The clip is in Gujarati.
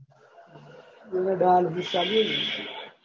એમને dialysis ચાલુ હે ને.